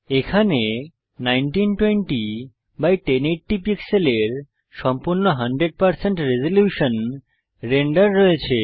এখানে 19201080 পিক্সেলের সম্পূর্ণ 100 রেজল্যুশন রেন্ডার রয়েছে